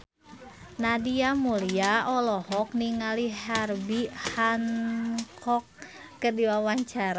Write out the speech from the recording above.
Nadia Mulya olohok ningali Herbie Hancock keur diwawancara